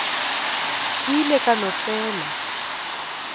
ke ile ka no fela